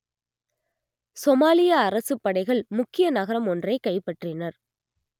சோமாலிய அரசுப் படைகள் முக்கிய நகரம் ஒன்றைக் கைப்பற்றினர்